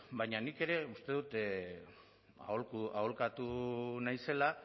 baina nik ere uste dut aholkatu naizela